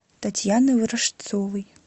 татьяны ворожцовой